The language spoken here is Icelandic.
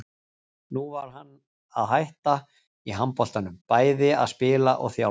Nú var hann að hætta í handboltanum, bæði að spila og þjálfa.